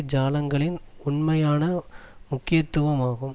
ஜாலங்களின் உண்மையான முக்கியத்துவம் ஆகும்